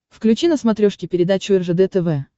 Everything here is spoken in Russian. включи на смотрешке передачу ржд тв